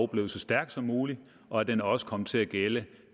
blev så stærk som muligt og at den også kom til at gælde